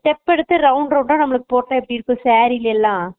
step எடுத்து round round ட போட்ட எப்பிடி இருக்கும் saree ல எல்லா